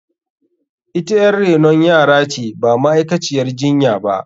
Ita yar renon yara ce ba ma’aikaciyar jinya ba.